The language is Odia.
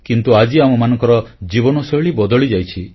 କିନ୍ତୁ ଆଜି ଆମମାନଙ୍କର ଜୀବନଶୈଳୀ ବଦଳିଯାଇଛି